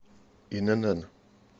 инн